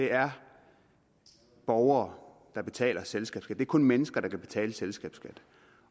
det er borgere der betaler selskabsskatten kun mennesker der kan betale selskabsskat